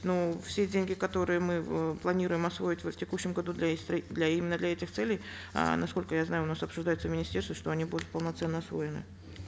но все деньги которые мы э планируем освоить в текущем году для их для именно для этих целей э насколько я знаю у нас обсуждается в министерстве что они будут полноценно освоены